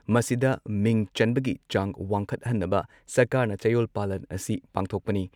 ꯃꯁꯤꯗ ꯃꯤꯡ ꯆꯟꯕꯒꯤ ꯆꯥꯡ ꯋꯥꯡꯈꯠꯍꯟꯅꯕ ꯁꯔꯀꯥꯔꯅ ꯆꯌꯣꯜ ꯄꯥꯂꯟ ꯑꯁꯤ ꯄꯥꯡꯊꯣꯛꯄꯅꯤ ꯫